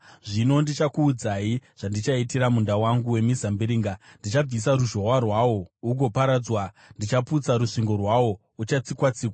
Zvino ndichakuudzai zvandichaitira munda wangu wemizambiringa: Ndichabvisa ruzhowa rwawo, ugoparadzwa; ndichaputsa rusvingo rwawo, ugochatsikwa-tsikwa.